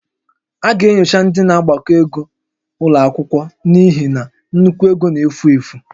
A ga-enyocha ndị na-agbakọ ego ụlọ akwụkwọ n'ihi na nnukwu ego n'efu efu